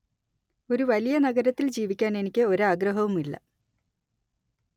ഒരു വലിയ നഗരത്തിൽ ജീവിക്കാൻ എനിക്ക് ഒരാഗ്രഹവുമില്ല